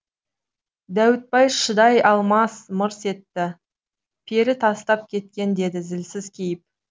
дәуітбай шыдай алмай мырс етті пері тастап кеткен деді зілсіз кейіп